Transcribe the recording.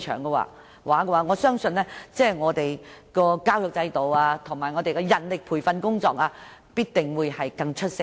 這樣，我相信教育制度和人力培訓工作必定會更出色。